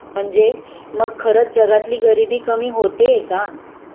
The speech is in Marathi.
म्हणजे मग खरंच जगातली गरिबी कमी होतेए का?